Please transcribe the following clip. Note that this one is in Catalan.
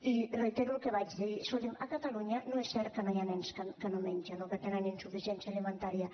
i reitero el que vaig dir escolti’m a catalunya no és cert que hi hagi nens que no mengen o que tenen insuficiència alimentària